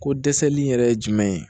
Ko dɛsɛli in yɛrɛ jumɛn ye